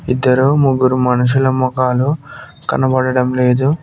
ఇద్దరూ ముగ్గురు మనుషుల మోఖాలు కనబడడం లేదు.